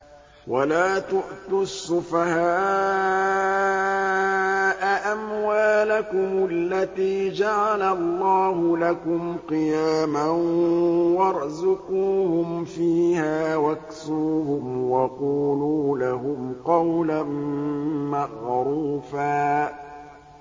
وَلَا تُؤْتُوا السُّفَهَاءَ أَمْوَالَكُمُ الَّتِي جَعَلَ اللَّهُ لَكُمْ قِيَامًا وَارْزُقُوهُمْ فِيهَا وَاكْسُوهُمْ وَقُولُوا لَهُمْ قَوْلًا مَّعْرُوفًا